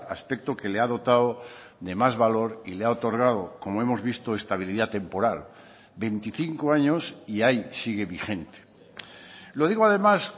aspecto que le ha dotado de más valor y le ha otorgado como hemos visto estabilidad temporal veinticinco años y ahí sigue vigente lo digo además